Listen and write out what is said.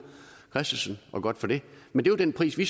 christensen og godt for det men det var den pris vi